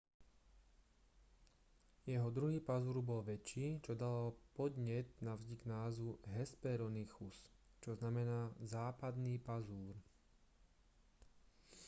jeho druhý pazúr bol väčší čo dalo podnet na vznik názvu hesperonychus čo znamená západný pazúr